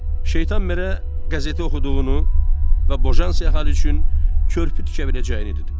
Şeytan merə qəzeti oxuduğunu və Bojansi əhali üçün körpü tikə biləcəyini dedi.